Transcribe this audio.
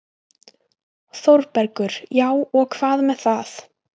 ÞÓRBERGUR: Já, og hvað með það?